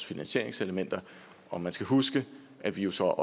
finansieringselementer og man skal huske at vi jo så